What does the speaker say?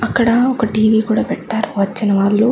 అక్కడ ఒక టి-వి కూడా పెట్టారు వచ్చినవాళ్లు.